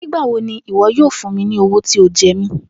Nigbawo ni iwọ yoo fun mi ni owo ti o jẹ mi?